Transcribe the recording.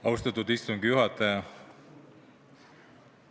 Austatud istungi juhataja!